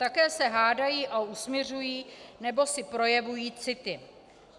Také se hádají a usmiřují nebo si projevují city.